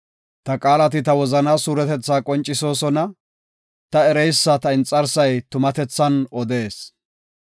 Ta qaalati ta wozana suuretetha qoncisosona; ta ereysa ta inxarsay tumatethan odees.